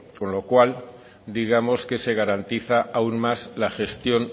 con lo cual digamos que se garantiza aún más la gestión